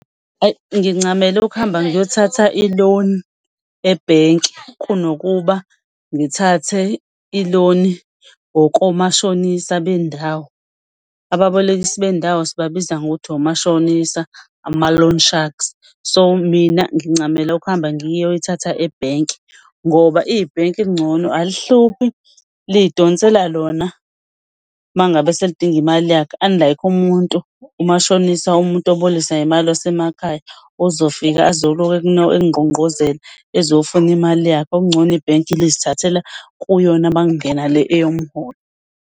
Ayi, ngincamela ukuhamba ngiyothatha i-loan ebhenki kunokuba ngithathe i-loan-i ngokomashonisa bendawo. Ababolekisi bendawo sibabiza ngokuthi omashonisa, ama-loan sharks, so mina ngincamela ukuhamba ngiyoyithatha ebhenki ngoba ibhenki kungcono alihluphi liy'donsela lona uma ngabe selidinga imali yakhe. Unlike umuntu, umashonisa, umuntu obolekisa ngemali wasemakhaya ozofika azoloku ekungqongqozela ezofuna imali yakhe, okungcono ibhenki lizithathele kuyona uma kungena le eyomholo.